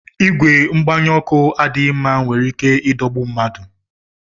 Ìgwè mgbanye ọkụ adịghị mma nwere ike idogbu mmadụ